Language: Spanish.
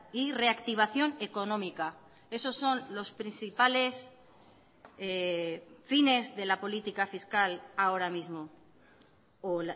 y reactivación económica esos son los principales fines de la política fiscal ahora mismo o